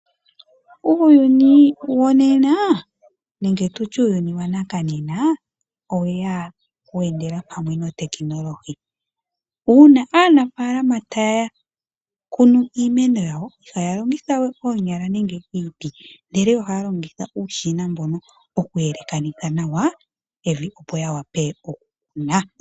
Uuyuni wonena nenge tutye uuyuni wanakanena oweya wendela pamwe noteknolohi. Uuna aanafaalama taya kunu iimeno yawo ihaya longitha we oonyala nenge iiti ndele ohaya longitha uushina mbono okuyelekanitha nawa evi opo ya wape okukuna.